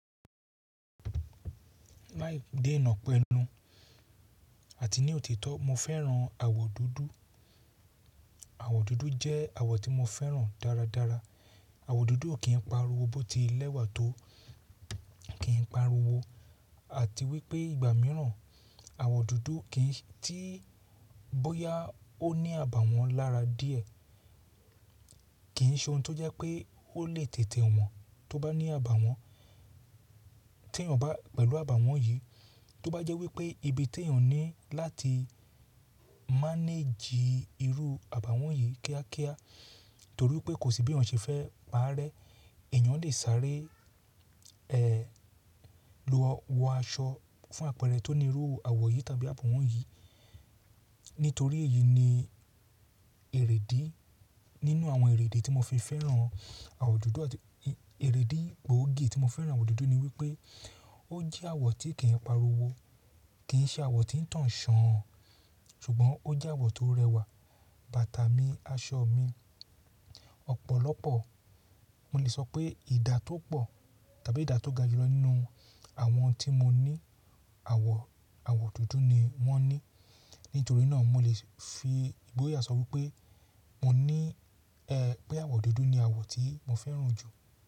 Láì dé na pẹ́nu àti ní òtítọ́ mo fẹ́ran àwọ̀ dúdú. Àwọ̀ dúdú jẹ́ àwọ̀ tí mo fẹ́ran dáradára. Àwọ̀ dúdú o kì n pariwo bó ti lẹ́wà tó, kì m pariwo àti wípé ìgbà mìíràn àwọ̀ dúdú o kì n tí bóyá ó ní àbàwọ́n lára díẹ̀, kìi ṣe ohun tó jẹ́ pé ó lè tètè wọ̀n tó bá ní àbàwọ́n. Ti èèyàn bá pẹ̀lú àbàwọ́n yìí, tó bá jẹ́ wípé ibi tí èèyàn ní láti manage irú àbàwọ́n yìí kíákíá torí pé kò sí bí èèyàn ṣe fẹ́ parẹ́. Èèyàn lè sáré, ẹ́ lọ wọ aṣọ fún àpẹẹrẹ tó ní irú àwọ̀ yìí tàbí àbàwọ́n yìí. Nítorí èyí ni erèdí nínú àwọn èrèdí tí mo fi fẹ́ran àwọ̀ dúdú àti èrèdí gbóògì tí mo fẹ́ran àwọ̀ dúdú ni wípé ó jẹ́ àwọ̀ tí kì í pariwo, kì í ṣe àwọ̀ tí ń tàn ṣán ṣùgbọ́n ó jẹ́ àwọ̀ tó rẹwà. Bàtà mi, aṣọ mi, ọ̀pọ̀lọpọ̀ mo lè sọ pé ìdá tó pọ̀ tàbí ìdá tó ga jùlọ nínú àwọn tí mo ní àwọ̀, àwọ̀ dúdú ni wọ́n ní. Nítorí náà mo lè fi ìgboyà sọ wípé mo ní ẹ́ pé àwọ̀ dúdú ni àwọ̀ tí mo fẹ́ran jù.